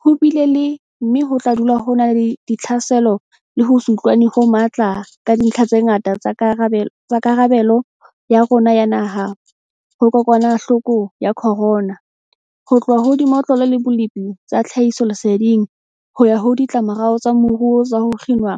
Ho bile le, mme ho tla dula ho na le, ditlhaselo le ho se utlwane ho matla ka dintlha tse ngata tsa karabelo ya rona ya naha ho kokwanahloko ya corona, ho tloha ho dimotlolo le bolepi tsa tlhahisoleseding, ho ya ho ditlamorao tsa moruo tsa ho kginwa